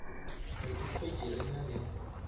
re ikhwetše re na le